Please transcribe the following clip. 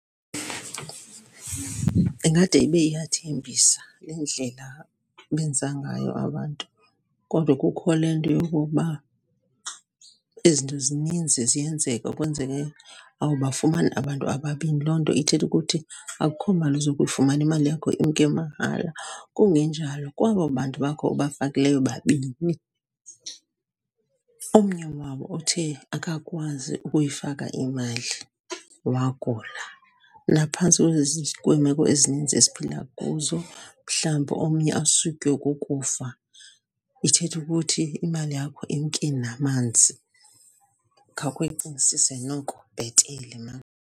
Ingade ibe iyathembisa le ndlela benza ngayo abantu, kodwa kukho le nto yokokuba izinto zininzi ziyenzeka. Kwenzeke awubafumani abantu ababini, loo nto ithetha ukuthi akukho mali uzokuyifumana, imali yakho imke mahala. Kungenjalo, kwabo bantu bakho ubafakileyo babini, omnye wabo othe akakwazi ukuyifaka imali wagula. Naphantsi kweemeko ezininzi esiphila kuzo, mhlawumbi omnye asutywe kukufa. Ithetha ukuthi imali yakho imke namanzi. Khawukhe uyicingisise noko bhetele maan.